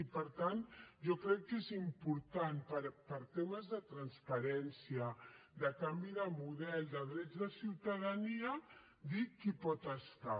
i per tant jo crec que és important per temes de transparència de canvi de model de drets de ciutadania dir qui hi pot estar